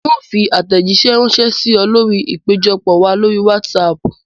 Ń ó fi àtẹ̀jísẹ́ rànsẹ́ sì ọ lórí ìpéjọpọ̀ wá lórí wásààpù